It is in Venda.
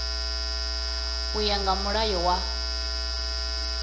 u ya nga mulayo wa